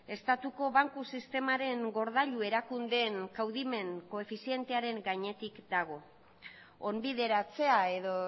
estatuko banku sistemaren gordailu erakundeen kaudimen koefizientearen gainetik dago onbideratzea edo